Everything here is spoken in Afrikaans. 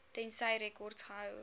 tensy rekords gehou